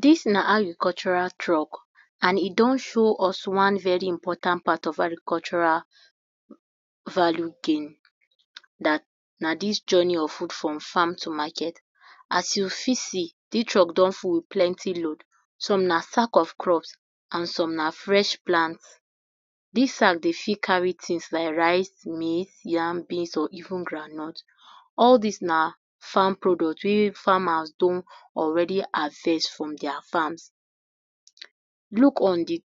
Dis na agricultural truck and e don show us one very important part of agricultural value gain, dat na did journey if good from farm to market, as we fit see dis truck don full with plenty load, some na sack of crops and some na fresh plants, dis truck dey fit carry things like rice beans or even groundnut, all dis thing na farm product wey farmers don already harvest for dia farm, look on di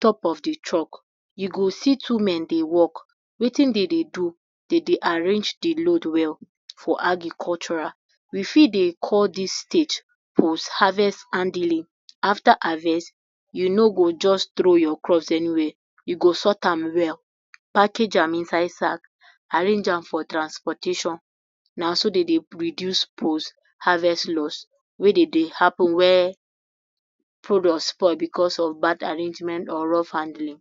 top of di truck, u go see two men dey work, Wetin dem dey do, dem dey arrange de load well for agricultural, we fit dey call dis stage post harvest handling after harvest u no go just throw your crops anywhere u go jus sort an well, package am inside sack, arrange am for transportation, na so dem dey reduce post harvest loss we dey dey happen wey product spoil because of bad arrangement or rough handling,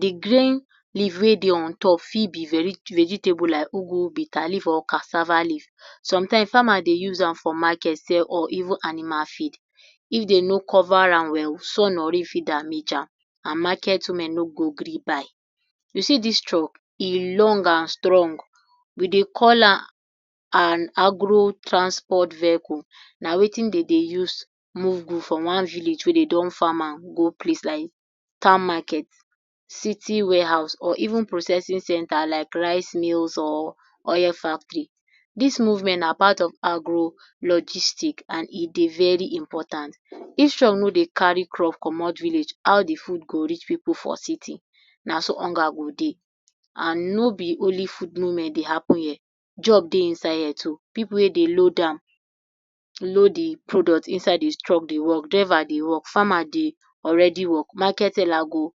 di grain leave wey dey ontop for be vegetable like ugwu, bitter Leaf or cassava leaf, some things farmer dey use am for market sell or even as animal feed, if dem no cover am well sun or rain fit damage am and market women no go gree buy, u see dis truck e long and strong we dey call am an agro transport vehicle, na Wetin dem dey use move goods from one village wey dem don farm am go place like town market, city warehouse or even processing center like rice mills or oil factory, dis movement na part of agro logistics and e dey very important, if truck no dey carry crops commot Village di food go reach city naso hunger gi dey and no be only food movement dey happen here job dey inside here too, pipu wey dey load am, load di product inside de truck dey work, driver dey work, farmer dey already work, market seller go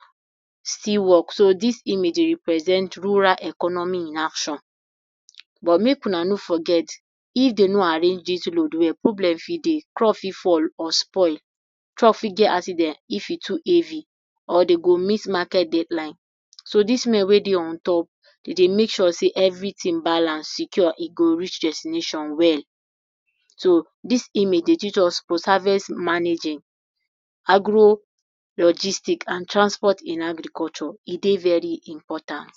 still work so dis image dey represent rural economy in action but make una no forget if dem no arrange dis load well problem fit dey truck for spoil or fall, truck for get accident if e too heavy or dem go miss market deadline, so dis men wey dey ontop dem dey make sure dey everything dey balance, e sure e go reach destination well so dis image dey teach us post harvest managing, agro logistics and transport in agriculture e dey very important.